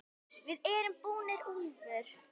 VIÐ ERUM BÚNIR, ÚLFUR!